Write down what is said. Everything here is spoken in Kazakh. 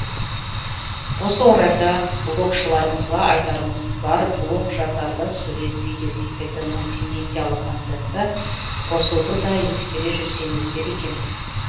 осы орайда блогшыларымызға айтарымыз бар блог жазарда сурет видео секілді мультимедиалық контентті қосуды да ескере жүрсеңіздер екен